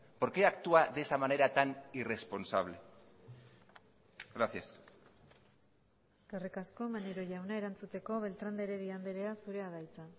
por qué actúa de esa manera tan irresponsable gracias eskerrik asko maneiro jauna erantzuteko beltrán de heredia andrea zurea da hitza